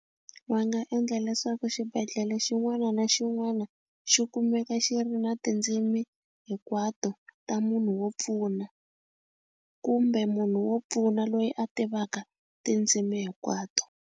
Va nga endla leswaku xibedhlele xin'wana na xin'wana xi kumeka xi ri na tindzimi hinkwato ta munhu wo pfuna kumbe munhu wo pfuna loyi a tivaka tindzimi hinkwato.